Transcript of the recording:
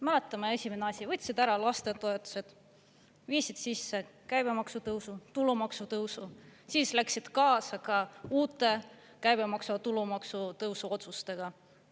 Mäletame, esimene asi, võtsid ära lastetoetused, viisid sisse käibemaksu tõusu, tulumaksu tõusu, siis läksid kaasa ka uute käibemaksu ja tulumaksu tõusu otsustega.